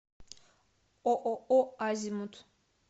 ооо азимут